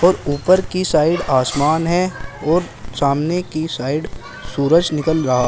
ऊपर की साइड आसमान है और सामने की साइड सूरज निकल रहा--